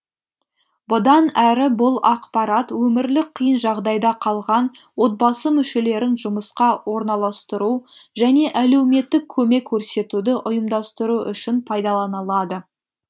бұдан әрі бұл ақпарат өмірлік қиын жағдайда қалған отбасы мүшелерін жұмысқа орналастыру және әлеуметтік көмек көрсетуді ұйымдастыру үшін пайдаланылады